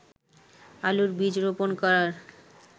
আলুর বীজ রোপন করার